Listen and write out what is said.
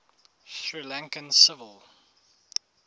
sri lankan civil